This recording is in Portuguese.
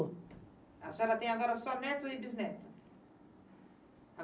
A senhora tem agora só neto e bisneto?